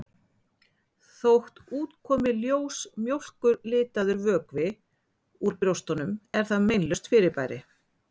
Þótt út komi ljós mjólkurlitaður vökvi úr brjóstunum er það meinlaust fyrirbæri.